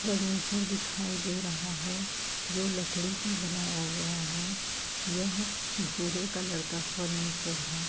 Furniture दिखाई दे रहा है जो लकड़ी का बनाया गया है। यह भूरे कलर का फर्नीचर है।